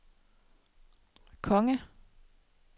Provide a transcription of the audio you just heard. konge